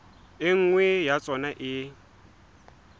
e nngwe ya tsona e